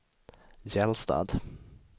Gällstad